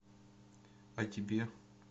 а тебе